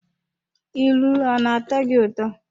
ilu ọ na-atọ gị ụtọ?